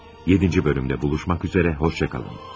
Yeddinci bölümdə buluşmaq üzərə, xoşça qalın.